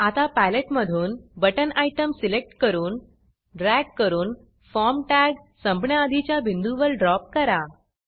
आता पॅलेटमधून button button item select करून ड्रॅग करून फॉर्म टॅग संपण्याआधीच्या बिंदूवर ड्रॉप करा